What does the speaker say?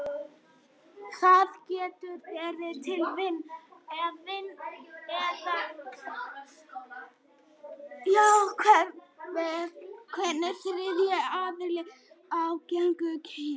Það getur verið til vina eða vinnufélaga, eða jafnvel einhvers þriðja aðila af gagnstæðu kyni.